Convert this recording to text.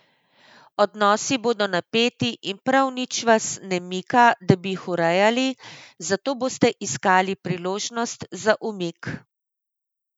Odnosi bodo napeti in prav nič vas ne mika, da bi jih urejali, zato boste iskali priložnost za umik.